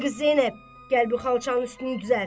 Ay qız Zeynəb, gəl bu xalçanın üstünü düzəlt.